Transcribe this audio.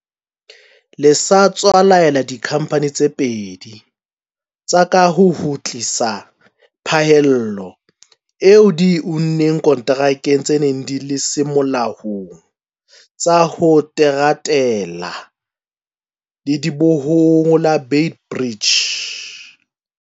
le sa tswa laela dikhamphane tse pedi tsa kaho ho kgutlisa phaello eo di e unneng konterakeng tse neng di se molaong tsa ho teratela ledibohong la Beit Bridge.